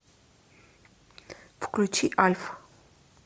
включи альф